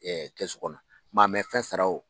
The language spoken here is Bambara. Ɛ Kɛsu kɔnɔ, maa mɛ fɛn sara